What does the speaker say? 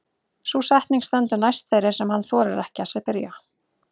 Sú setning stendur næst þeirri sem hann þorir ekki að spyrja.